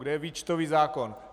Kde je výčtový zákon?